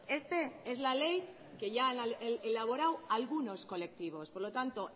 este es la ley que ya han elaborado algunos colectivos por lo tanto